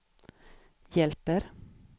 hjälper